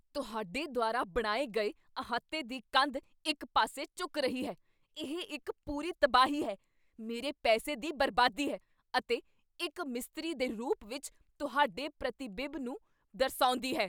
ਤੁਹਾਡੇ ਦੁਆਰਾ ਬਣਾਏ ਗਏ ਅਹਾਤੇ ਦੀ ਕੰਧ ਇੱਕ ਪਾਸੇ ਝੁਕ ਰਹੀ ਹੈ ਇਹ ਇੱਕ ਪੂਰੀ ਤਬਾਹੀ ਹੈ, ਮੇਰੇ ਪੈਸੇ ਦੀ ਬਰਬਾਦੀ ਹੈ, ਅਤੇ ਇੱਕ ਮਿਸਤਰੀ ਦੇ ਰੂਪ ਵਿੱਚ ਤੁਹਾਡੇ ਪ੍ਰਤੀਬਿੰਬ ਨੂੰ ਦਰਸਾਉਂਦੀ ਹੈ